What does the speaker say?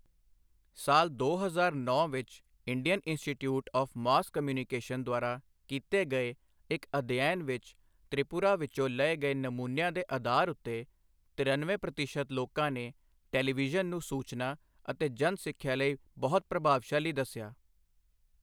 ਸਾਲ ਦੋ ਹਜ਼ਾਰ ਨੌਂ ਵਿੱਚ Indian institute of mass communication ਦੁਆਰਾ ਕੀਤੇ ਗਏ ਇੱਕ ਅਧਿਐਨ ਵਿੱਚ ਤ੍ਰਿਪੁਰਾ ਵਿੱਚੋ ਲਏ ਗਏ ਨਮੂਨਿਆ ਦੇ ਆਧਾਰ ਉੱਤੇ ਤਿਰਨਵੇਂ ਪ੍ਰਤੀਸ਼ਤ ਲੋਕਾਂ ਨੇ ਟੈਲੀਵਿਜ਼ਨ ਨੂੰ ਸੂਚਨਾ ਅਤੇ ਜਨ ਸਿੱਖਿਆ ਲਈ ਬਹੁਤ ਪ੍ਰਭਾਵਸ਼ਾਲੀ ਦੱਸਿਆ।